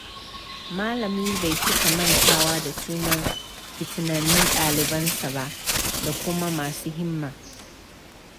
Malami bai cika mantawa da sunan fitinannun ɗalibansa ba da kuma masu himma.